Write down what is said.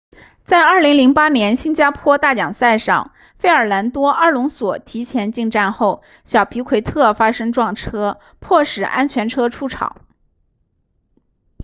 在2008年新加坡大奖赛上费尔南多阿隆索提前进站后小皮奎特发生撞车迫使安全车出场